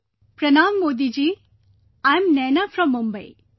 "Pranam Modi ji, I'm Naina from Mumbai